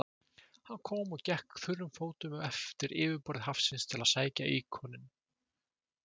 Hann kom og gekk þurrum fótum eftir yfirborði hafsins til að sækja íkoninn.